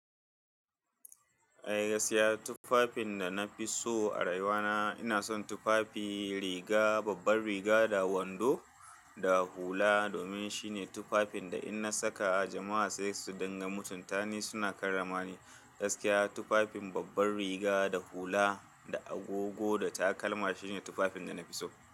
Eh, gaskiya tufafin da na fi so a rayuwa na, ina son tufafi riga, babban riga da wando da hula domin shine tufafin da in na saka a jama'a sai su dinga mutunta ni, suna karrama ni. Gaskiya tufafin babban riga da hula da agogo da takalma shine tufafin da na fi so.